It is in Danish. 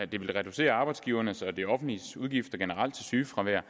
det vil reducere arbejdsgivernes og det offentliges udgifter til sygefravær